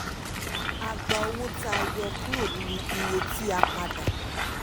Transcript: a gba owó tà a yọ ọ́ kúrò nínú iye tí a padà.